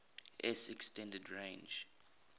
s extended range